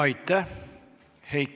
Aitäh!